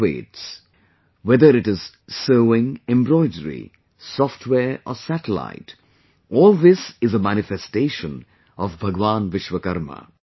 innovates... whether it is sewingembroidery, software or satellite, all this is a manifestation of Bhagwan Vishwakarma